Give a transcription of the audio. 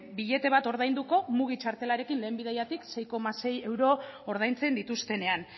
billete bat ordainduko mugi txartelarekin lehen bidaiatik sei koma sei euro ordaintzen dituztenean